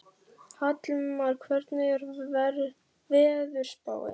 Hallmar, hvernig er veðurspáin?